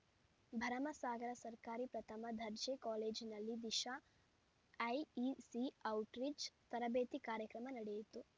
ಭರಮಸಾಗರ ಸರ್ಕಾರಿ ಪ್ರಥಮ ದರ್ಜೆ ಕಾಲೇಜಿನಲ್ಲಿ ದಿಶಾಐಇಸಿಔಟ್ರೀಚ್‌ ತರಬೇತಿ ಕಾರ್ಯಕ್ರಮ ನಡೆಯಿತು